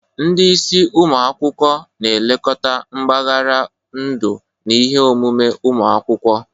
Ndị isi ụmụ akwụkwọ na-elekọta mbaghara ndu na ihe omume ụmụ akwụkwọ.